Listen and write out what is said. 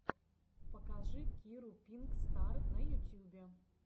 покажи киру пинк стар на ютьюбе